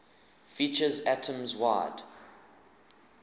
features atoms wide